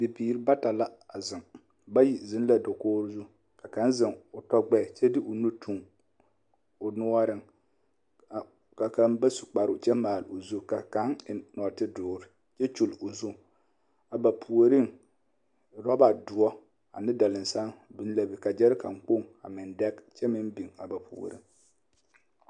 Bibiiri bata la a zeŋ bayi zeŋ la dakogi zu ka kaŋ zeŋ o tɔ gbɛɛ kyɛ de o nu toŋ o noɔreŋ ka kaŋ ba su kparoŋ kyɛ maale o zu ka kaŋ eŋ nɔɔte doore kyɛ kyuli o zu, a ba puoriŋ roba doɔ ane dalinsaŋ biŋ la be ka gyɛrekane kpoŋ a meŋ dɛge kyɛ meŋ biŋ a ba puoriŋ